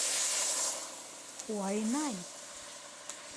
хуайнань